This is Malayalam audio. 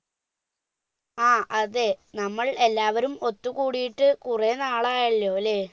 ആ അതെ നമ്മൾ എല്ലാവരും ഒത്തുകൂടിയിട്ട് കുറെ നാളായല്ലോ അല്ലെ